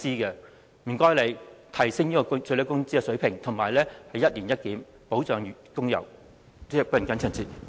請特區政府提升最低工資水平，以及進行一年一檢，保障工友的生活。